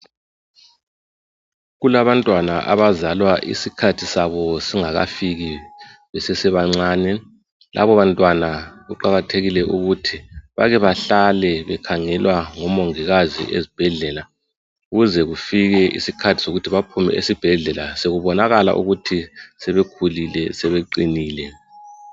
Kulabantwana abazalwa iskhathi sabo singakafiki besesebancane laba bantwana kuqakathekile ukut bake bahlale bekhangelwa ngomongikazi ezibhedlela kuze kufike isikhathi sokut bephume esibhedlela sekubonakala ukut sebekhulile sebeqinile